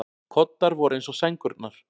Koddar voru eins og sængurnar.